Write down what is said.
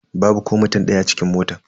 Babu ko mutum daya a cikin motan.